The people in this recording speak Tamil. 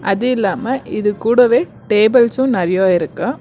அது இல்லாம இது கூடவே டேபிள்சும் நெறைய இருக்கு.